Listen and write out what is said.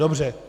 Dobře.